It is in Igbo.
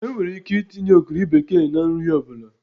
Enwere ike itinye ogiri bekee na nri ọ bụla